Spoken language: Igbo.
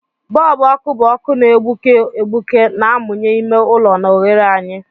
Bọlbụ ọkụ bụ ọkụ na-egbuke egbuke na-amụnye ime ụlọ na oghere anyị.